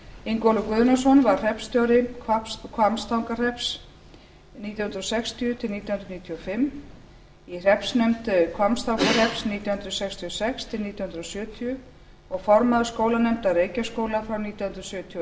ingólfur guðnason var hreppstjóri hvammstangahrepps nítján hundruð sextíu til nítján hundruð níutíu og fimm í hreppsnefnd hvammstangahrepps nítján hundruð sextíu og sex til nítján hundruð sjötíu og formaður skólanefndar reykjaskóla frá nítján hundruð sjötíu og